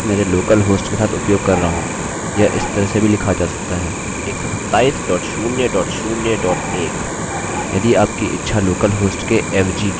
यह इस तरह से भी लिखा जा सकता है127001 यदि आपकी इच्छा लोकल होस्ट के एवजी की है